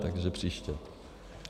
Takže příště.